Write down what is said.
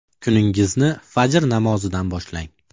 Kuningizni fajr namozidan boshlang!